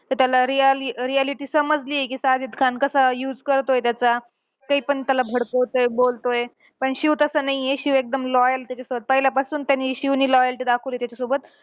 ते त्याला real reality समजली कि साजिद खान कसा use करतोय त्याचा. ते पण त्याला फडकवतोय, बोलतोय. पण शिव तसा नाहीये, शिव एकदम loyal आहे त्याच्यासोबत. पहिल्यापासून त्यानी शिवने loyalty दाखवली त्याच्यासोबत.